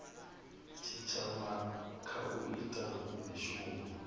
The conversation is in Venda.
tshitshavha kha u ita mishumo